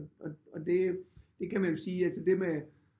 Og det det kan man jo sige det med